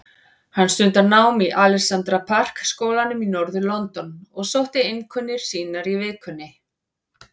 Hann stundar nám í Alexandra Park skólanum í norður-London og sótti einkunnir sínar í vikunni.